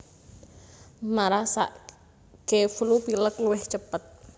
Marasake flu pilek luwih cepet